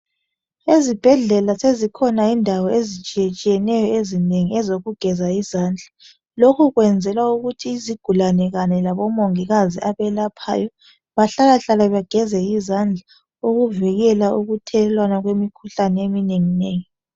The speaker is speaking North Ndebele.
Ezibhedlela zezikhona indawo ezitshiyeneyo ezinengi ezokugeza izandla. Lokhu kwenzelwa ukuthi izigulane Kanye labomongikazi abelaphayo bahlalahlale bageze izandla ukuvikela ukuthelelwana kwemikhuhlane eminengi.